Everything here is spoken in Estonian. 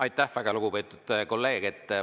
Aitäh, väga lugupeetud kolleeg!